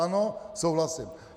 Ano souhlasím.